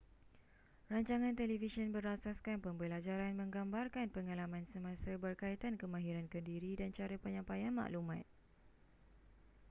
rancangan televisyen berasaskan pembelajaran menggambarkan pengalaman semasa berkaitan kemahiran kendiri dan cara penyampaian maklumat